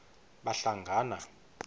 bahlangana